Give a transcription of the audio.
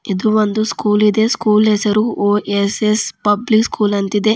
ಇದು ಒಂದು ಸ್ಕೂಲ್ ಇದೆ ಸ್ಕೂಲ್ ಹೆಸರು ಒ_ಎಸ್_ಎಸ್ ಪಬ್ಲಿಕ್ ಸ್ಕೂಲ್ ಅಂತ ಇದೆ.